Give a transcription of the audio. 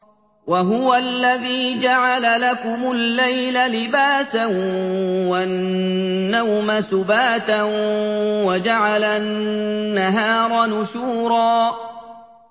وَهُوَ الَّذِي جَعَلَ لَكُمُ اللَّيْلَ لِبَاسًا وَالنَّوْمَ سُبَاتًا وَجَعَلَ النَّهَارَ نُشُورًا